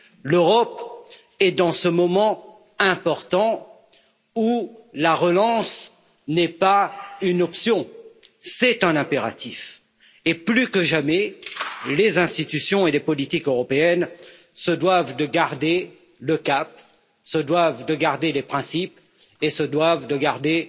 L'Europe est dans ce moment important où la relance n'est pas une option, c'est un impératif et, plus que jamais, les institutions et les politiques européennes se doivent de garder le cap, se doivent de garder des principes et se doivent de garder